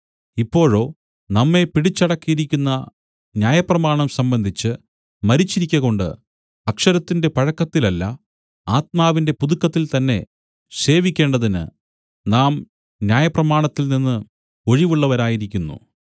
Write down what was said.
ഇപ്പോഴോ നമ്മെ പിടിച്ചടക്കിയിരുന്ന ന്യായപ്രമാണം സംബന്ധിച്ച് മരിച്ചിരിക്കകൊണ്ട് അക്ഷരത്തിന്റെ പഴക്കത്തിലല്ല ആത്മാവിന്റെ പുതുക്കത്തിൽത്തന്നെ സേവിക്കേണ്ടതിന് നാം ന്യായപ്രമാണത്തിൽനിന്ന് ഒഴിവുള്ളവരായിരിക്കുന്നു